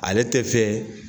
Ale te fɛ